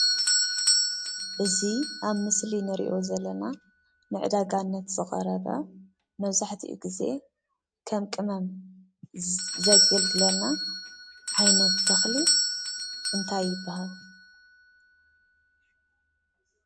እዚ ኣብ ምስሊ ንሪኦ ዘለና ንዕዳጋነት ዝቀረበ መብዛሕትኡ ግዘ ከም ቅመም ዘገልግለና ዓይነት ተኽሊ እንታይ ይበሃል ?